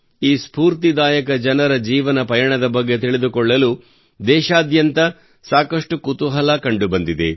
ಈ ಸ್ಪೂರ್ತಿದಾಯಕ ಜನರ ಜೀವನ ಪಯಣದ ಬಗ್ಗೆ ತಿಳಿದುಕೊಳ್ಳಲು ದೇಶಾದ್ಯಂತ ಸಾಕಷ್ಟು ಕುತೂಹಲ ಕಂಡು ಬಂದಿದೆ